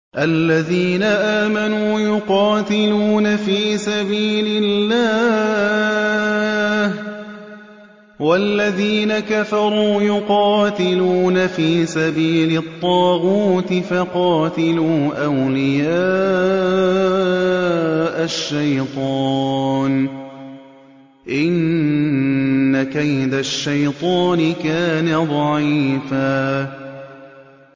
الَّذِينَ آمَنُوا يُقَاتِلُونَ فِي سَبِيلِ اللَّهِ ۖ وَالَّذِينَ كَفَرُوا يُقَاتِلُونَ فِي سَبِيلِ الطَّاغُوتِ فَقَاتِلُوا أَوْلِيَاءَ الشَّيْطَانِ ۖ إِنَّ كَيْدَ الشَّيْطَانِ كَانَ ضَعِيفًا